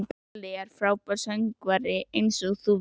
Palli er frábær söngvari, einsog þú veist.